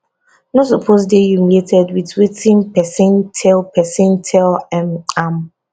no suppose dey humiliated wit wetin pesin tell pesin tell um am